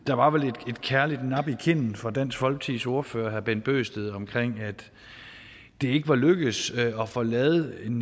der var vel et kærligt nap i kinden fra dansk folkepartis ordfører herre bent bøgsted om at det ikke var lykkedes at få lavet en